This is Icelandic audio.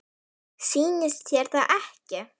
Sýnist þér það ekki?